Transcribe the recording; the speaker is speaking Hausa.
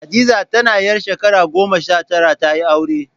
Hadiza tana ƴar shakara goma sha tara ta yi aure